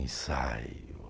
Ensaio.